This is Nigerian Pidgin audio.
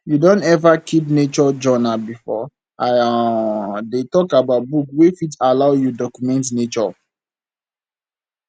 you don ever keep nature journal before i um dey talk about book wey fit allow you document nature